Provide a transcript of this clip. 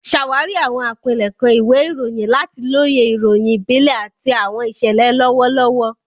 Ṣàwárí àwọn àpilẹ̀kọ ìwé ìròyìn láti lóye ìròyìn ìbílẹ̀ àti àwọn ìṣẹ̀lẹ̀ lọ́wọ́lọ́wọ́.